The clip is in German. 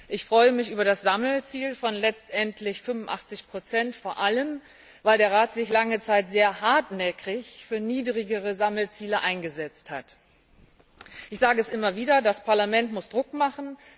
Ich freue mich über das Sammelziel von letztendlich 85 vor allem, weil sich der Rat lange Zeit sehr hartnäckig für niedrigere Sammelziele eingesetzt hat. Ich sage es immer wieder Das Parlament muss Druck machen.